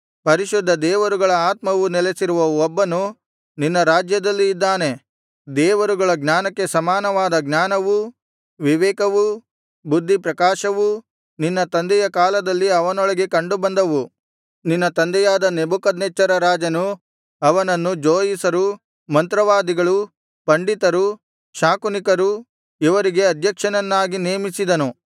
ಪರಿಶುದ್ಧ ದೇವರುಗಳ ಆತ್ಮವು ನೆಲೆಸಿರುವ ಒಬ್ಬನು ನಿನ್ನ ರಾಜ್ಯದಲ್ಲಿ ಇದ್ದಾನೆ ದೇವರುಗಳ ಜ್ಞಾನಕ್ಕೆ ಸಮಾನವಾದ ಜ್ಞಾನವೂ ವಿವೇಕವೂ ಬುದ್ಧಿ ಪ್ರಕಾಶವೂ ನಿನ್ನ ತಂದೆಯ ಕಾಲದಲ್ಲಿ ಅವನೊಳಗೆ ಕಂಡುಬಂದವು ನಿನ್ನ ತಂದೆಯಾದ ನೆಬೂಕದ್ನೆಚ್ಚರ ರಾಜನು ಅವನನ್ನು ಜೋಯಿಸರು ಮಂತ್ರವಾದಿಗಳು ಪಂಡಿತರು ಶಾಕುನಿಕರು ಇವರಿಗೆ ಅಧ್ಯಕ್ಷನನ್ನಾಗಿ ನೇಮಿಸಿದನು